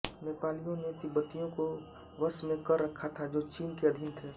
नेपालियों ने तिब्बतियों को वश में कर रखा था जो चीन के अधिन थें